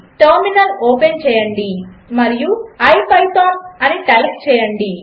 terminal open చేయండి మరియు IPython అని టైప్ చేయండి